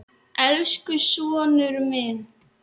Elsku sonur.